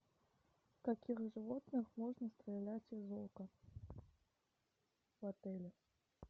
в каких животных можно стрелять из лука в отеле